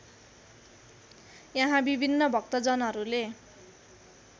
यहाँ विभिन्न भक्तजनहरूले